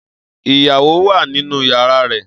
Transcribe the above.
Iyawo wa ninu yara rẹ.